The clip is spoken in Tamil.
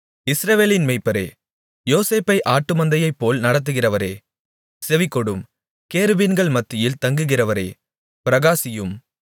இஸ்ரவேலின் மேய்ப்பரே யோசேப்பை ஆட்டுமந்தையைப்போல் நடத்துகிறவரே செவிகொடும் கேருபீன்கள் மத்தியில் தங்குகிறவரே பிரகாசியும்